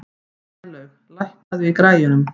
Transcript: Snælaug, lækkaðu í græjunum.